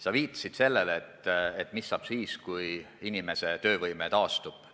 Sa küsisid, mis saab siis, kui inimese töövõime taastub.